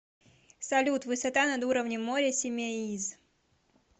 салют высота над уровнем моря симеиз